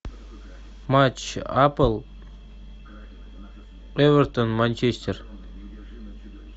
матч апл эвертон манчестер